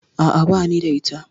A'a, bani da ita.